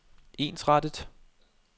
ensrettet